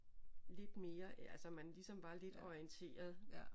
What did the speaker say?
Lidt mere altså man ligesom var lidt orienteret